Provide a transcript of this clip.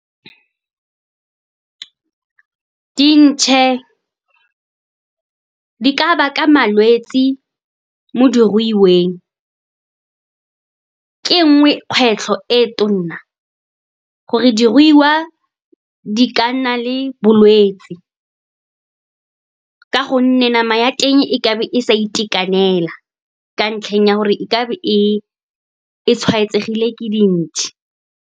Dintšhe di ka baka malwetse mo diruiweng. Ka nngwe, kgwetlho e tona gore diruiwa di ka nna le bolwetse, ka gonne nama ya teng e ka be e sa itekanela ka ntlheng ya gore e ka be e tshwaetsegile ke dintšhe.